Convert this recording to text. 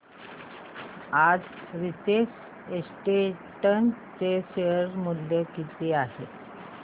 आज नीतेश एस्टेट्स चे शेअर मूल्य किती आहे सांगा